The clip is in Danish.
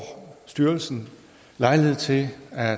styrelsen lejlighed til